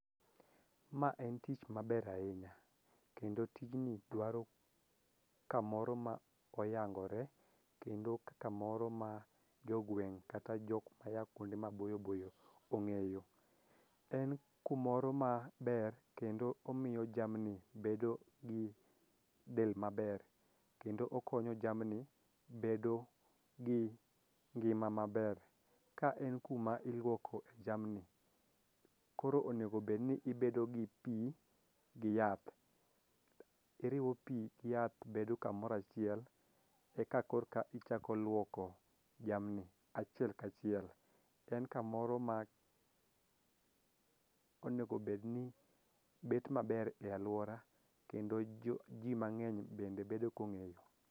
Ma en tich maber ahinya kendo tijni dwaro kamoro ma oyangore kendo ka moro ma jogweng' kata jok maya kuonde maboyoboyo ong'eyo. En kumoro ma ber kendo omiyo jamni bedo gi del maber kendo okonyo jamni bedo gi ngima maber ka en kuma iluoko e jamni . Koro onego bed ni ibedo gi pii gi yath iriwo pii gi yath bedo kamorachiel eka korka ichako luoko jamni achiel kachiel. En kamoro ma onego bed ni bet maber e aluora kendo jo ji mang'eny bende bedo kong'eyo.